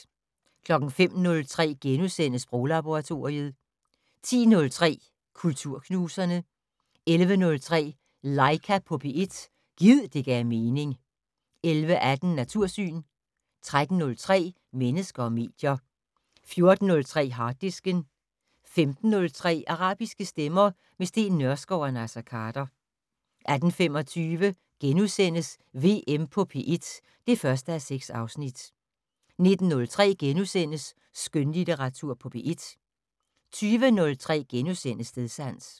05:03: Sproglaboratoriet * 10:03: Kulturknuserne 11:03: Laika på P1 - gid det gav mening 11:18: Natursyn 13:03: Mennesker og medier 14:03: Harddisken 15:03: Arabiske stemmer - med Steen Nørskov og Naser Khader 18:25: VM på P1 (1:6)* 19:03: Skønlitteratur på P1 * 20:03: Stedsans *